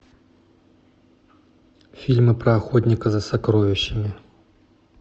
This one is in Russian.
фильмы про охотника за сокровищами